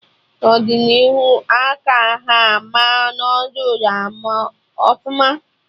N'ọdịnihu a ka ha ama noodul ama ọfụma